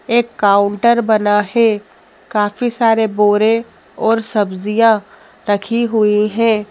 एक काउंटर बना है काफी सारे बोरे और सब्जियां रखी हुई हैं।